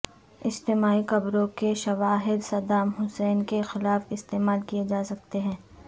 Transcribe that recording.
اجتماعی قبروں کے شواہد صدام حسین کے خلاف استعمال کیے جا سکتے ہیں